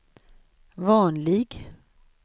vanlig